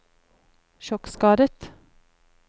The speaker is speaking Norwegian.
sjokkskadet